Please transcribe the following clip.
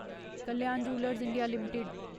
Kalyan jewellers India limited